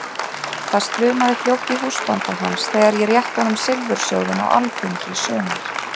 Það slumaði fljótt í húsbónda hans þegar ég rétti honum silfursjóðinn á alþingi í sumar!